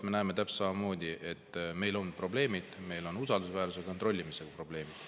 Me näeme täpselt samamoodi, et meil on probleemid, meil on usaldusväärsuse ja kontrollimise probleemid.